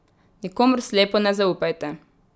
Nikomur slepo ne zaupajte.